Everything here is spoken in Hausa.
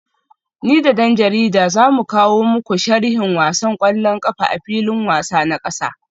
Ni da dan jarida za mu kawo muku sharhin wasan kwallon kafa a filin wasa na kasa